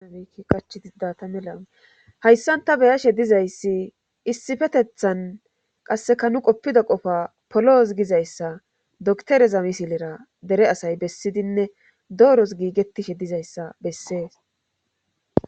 Iiqachidida ta mela hayssan ta beyashe dizayssi issifetethan qasseka nu qoppida qofa poloos gizayssa doktereza misilera dere asay bessidinne dooros giigetishe dizayssa bessees